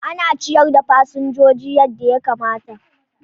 Ana ciyar da fasinjoji yadda ya kamata.